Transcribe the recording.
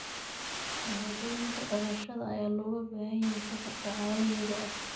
Shahaadooyinka dhalashada ayaa looga baahan yahay safarka caalamiga ah.